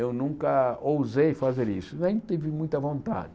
Eu nunca ousei fazer isso, nem tive muita vontade.